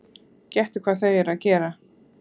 Gettu hvað þau eru að gera?